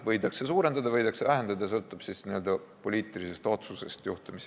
Võidakse suurendada, võidakse vähendada, sõltub n-ö poliitilisest otsusest.